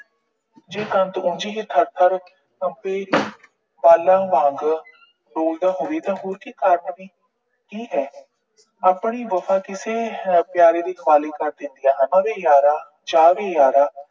ਜੇ ਪਹੁੰਚੀਏ, ਥਰ ਥਰ ਕੰਬੇ ਬਾਲਣ ਵਾਂਗ ਬੋਲਦਾ ਹੋਵੇ ਤਾਂ ਹੋਰ ਕੋਈ ਕਾਰਨ ਨੀ। ਠੀਕ ਹੈ। ਆਪਣੀ ਵਫਾ ਕਿਸੇ ਪਿਆਰੇ ਦੇ ਹਵਾਲੇ ਕਰ ਦਿੰਦੀਆਂ ਹਨ। ਉਹਨਾਂ ਦੇ ਯਾਰਾਂ, ਚਾਅ ਦੇ ਯਾਰਾਂ